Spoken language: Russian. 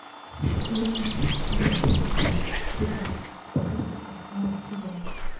сырный с курицей и грибами это просто отвал всего